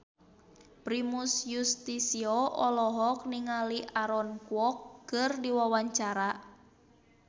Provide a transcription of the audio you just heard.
Primus Yustisio olohok ningali Aaron Kwok keur diwawancara